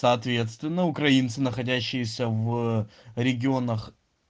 соответственно украинцы находящиеся в регионах